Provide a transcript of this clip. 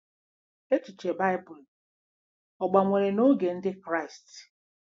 Echiche Baịbụl ọ̀ gbanwere n’oge Ndị Kraịst?